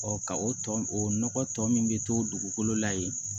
ka o tɔ o nɔgɔ tɔ min bɛ to dugukolo la yen